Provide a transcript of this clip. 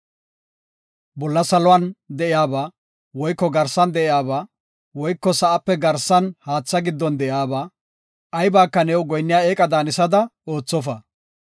“Bolla saluwan de7iyaba, woyko garsa sa7an de7iyaba, woyko sa7ape garsan haatha giddon de7iyaba aybaka new goyinniya eeqa daanisada oothofa.